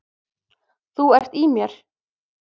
Þú ert í mér.